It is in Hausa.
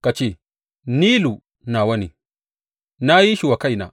Ka ce, Nilu nawa ne; na yi shi wa kaina.